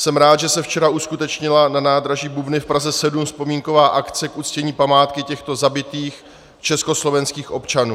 Jsem rád, že se včera uskutečnila na nádraží Bubny v Praze 7 vzpomínková akce k uctění památky těchto zabitých československých občanů.